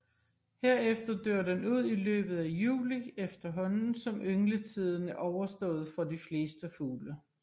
Herefter dør den ud i løbet af juli efterhånden som yngletiden er overstået for de fleste fugle